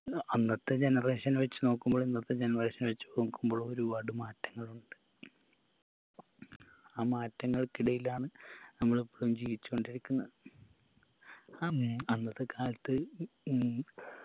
അന്നത്തെ generation വെച്ച് നോക്കുമ്പോൾ ഇന്നത്തെ generation വെച്ച് നോക്കുമ്പോഴും ഒരുപാട് മാറ്റങ്ങൾ ഉണ്ട് ആ മാറ്റങ്ങൾക്കിടയിലാണ് നമ്മൾ ഇപ്പഴും ജീവിച്ച് കൊണ്ടിരിക്കുന്നത് അമ്മേ അന്നത്തെ കാലത്ത് ഉം